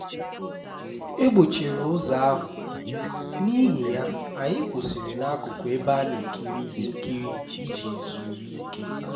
e gbochiri ụzọ ahụ n'ihi ya anyị kwụsịrị n'akụkụ ebe a na-ekiri ihe nkiri iji zuru ike